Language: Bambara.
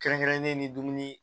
Kɛrɛnkɛrɛnnen ni dumuni